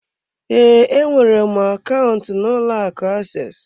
Ee, enwere m akaụntụ n'ụlọ akụ access.